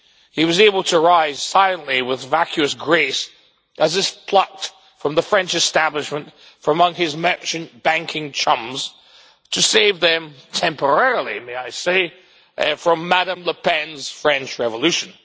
He was able to rise silently with vacuous grace, as he was plucked from the French establishment from among his merchant banking chums, to save them temporarily, may I say from Madam Le Pen's French Revolution.